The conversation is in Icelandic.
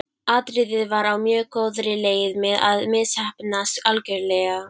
Atriðið var á mjög góðri leið með að misheppnast algjörlega.